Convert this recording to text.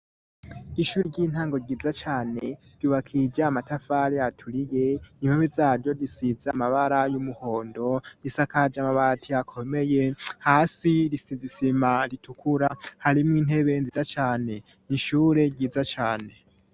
Ishuri ry'intango ryiza cane ryubakija amatafari aturiye impome zaryo zisize amabara y'umuhondo risakaje amabati akomeye hasi risize isima ritukura harimwo intebe nziza cane n'ishure ryiza cane.